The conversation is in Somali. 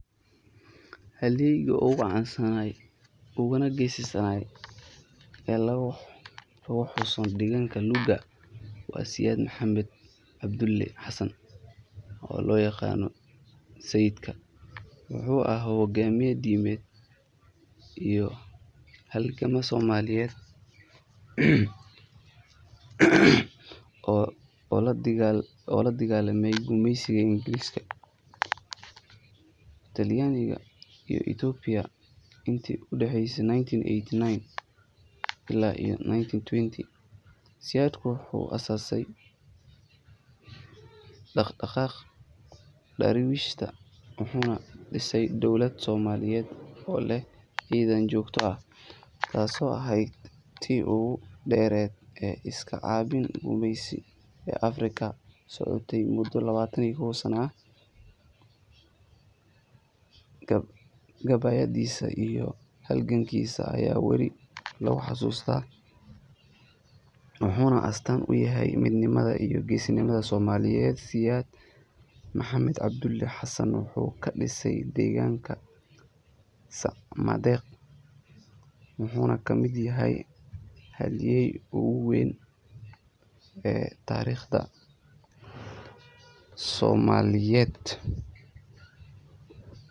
Halyeeyga ugu caansan uguna geesisan ee laga xuso deegaanka Luuga waa Sayid Maxamed Cabdulle Xasan, oo loo yaqaanay "Sayidka." Wuxuu ahaa hogaamiye diimeed iyo halgamaa Soomaaliyeed oo la dagaallamay gumeysigii Ingiriiska, Talyaaniga, iyo Itoobiya intii u dhaxeysay 1899 ilaa 1920. Sayidku wuxuu aasaasay Dhaqdhaqaaqii Daraawiishta, wuxuuna dhisay dowlad Soomaaliyeed oo leh ciidan joogto ah, taasoo ahayd tii ugu dheerayd ee iska caabin gumeysi ee Afrika, socotayna muddo lawatan iyo kowsano ah. Gabayadiisa iyo halgankiisa ayaa weli lagu xasuustaa, wuxuuna astaan u yahay midnimada iyo geesinimada Soomaaliyeed. Sayid Maxamed Cabdulle Xasan wuxuu ku dhashay deegaanka Sacmadeeq, wuxuuna ka mid yahay halyeeyada ugu weyn ee taariikhda Soomaaliya.